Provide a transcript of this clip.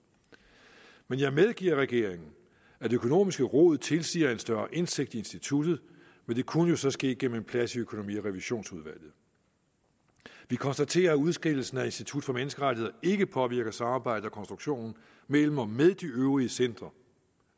men jeg medgiver regeringen at økonomisk rod tilsiger en større indsigt i instituttet men det kunne jo så ske gennem en plads i økonomi og revisionsudvalget vi konstaterer at udskillelsen af institut for menneskerettigheder ikke påvirker samarbejdet og konstruktionen mellem og med de øvrige centre